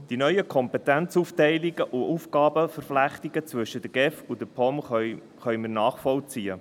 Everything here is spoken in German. Wir können die neuen Kompetenzaufteilungen und Aufgabenentflechtungen zwischen der GEF und der POM nachvollziehen.